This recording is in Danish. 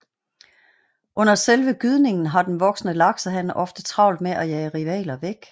Under selve gydningen har den voksne laksehan ofte travlt med at jage rivaler væk